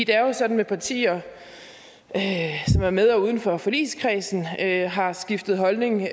er jo sådan med partier som er med og uden for forligskredsen at de har skiftet holdning